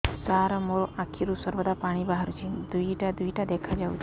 ସାର ମୋ ଆଖିରୁ ସର୍ବଦା ପାଣି ବାହାରୁଛି ଦୁଇଟା ଦୁଇଟା ଦେଖାଯାଉଛି